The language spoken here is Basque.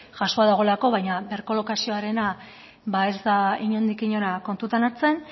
jasoa dagoelako baina birkolokazioarena ba ez da inondik inora kontutan hartzen